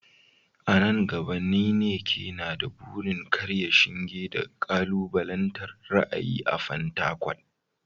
A nan gaba, Nneka na da burin karya shinge da kalubalantar ra’ayi a Fatakwal.